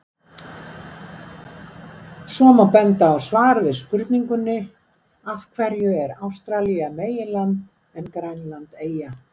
Svo má benda á svar við spurningunni Af hverju er Ástralía meginland en Grænland eyja?